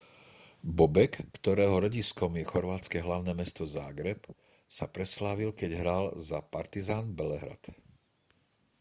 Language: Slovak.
bobek ktorého rodiskom je chorvátske hlavné mesto záhreb sa preslávil keď hral za partizan belehrad